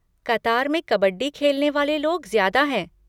कतार में कबड्डी खेलने वाले लोग ज्यादा हैं।